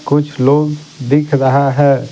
कुछ लोग दिख रहा है।